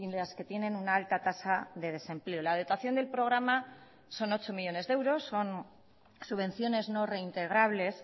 las que tienen una alta tasa de desempleo la dotación del programa son ocho millónes de euros son subvenciones no reintegrables